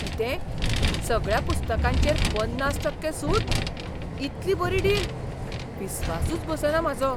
कितें? सगळ्या पुस्तकांचेर पन्नास टक्के सूट?, इतली बरी डील? विस्वासूच बसना म्हाजो!